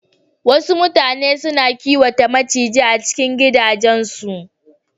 Wasu mutane suna kiwata maciji a cikin gidajen su